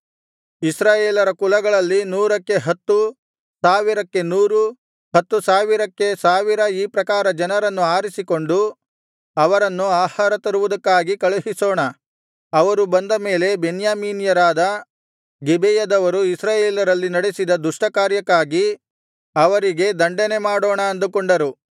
ಇಸ್ರಾಯೇಲ್ಯರ ಕುಲಗಳಲ್ಲಿ ನೂರಕ್ಕೆ ಹತ್ತು ಸಾವಿರಕ್ಕೆ ನೂರು ಹತ್ತು ಸಾವಿರಕ್ಕೆ ಸಾವಿರ ಈ ಪ್ರಕಾರ ಜನರನ್ನು ಆರಿಸಿಕೊಂಡು ಅವರನ್ನು ಆಹಾರ ತರುವುದಕ್ಕಾಗಿ ಕಳುಹಿಸೋಣ ಅವರು ಬಂದ ಮೇಲೆ ಬೆನ್ಯಾಮೀನ್ಯರಾದ ಗಿಬೆಯದವರು ಇಸ್ರಾಯೇಲರಲ್ಲಿ ನಡೆಸಿದ ದುಷ್ಟ ಕಾರ್ಯಕ್ಕಾಗಿ ಅವರಿಗೆ ದಂಡನೆಮಾಡೋಣ ಅಂದುಕೊಂಡರು